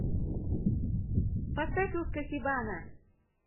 поставь уска хи бана